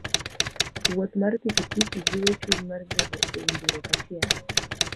Wuoth mar pikipiki jiwo chuny mar bedo e winjruok achiel.